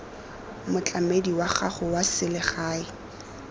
motlamedi wa gago wa selegae